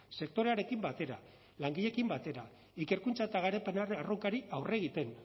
sektorearekin batera langileekin batera ikerkuntza eta garapena erronkari aurre egiten